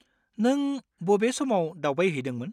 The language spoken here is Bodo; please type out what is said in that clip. नों बबे समाव दावबायहैदोंमोन?